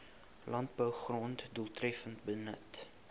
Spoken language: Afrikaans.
landbougrond doeltreffender benut